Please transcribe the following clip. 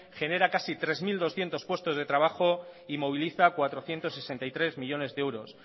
genera casi tres mil doscientos puestos de trabajo y moviliza cuatrocientos sesenta y tres millónes de euros